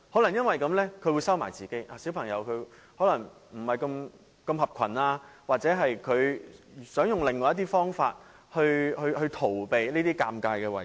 單親家庭的小朋友可能不合群，或者想用另一些方法來逃避這些尷尬情況。